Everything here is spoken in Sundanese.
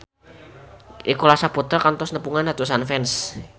Nicholas Saputra kantos nepungan ratusan fans